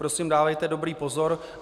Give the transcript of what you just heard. Prosím, dávejte dobrý pozor.